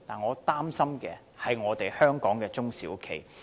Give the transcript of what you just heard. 我擔心的是在香港營運的中小企。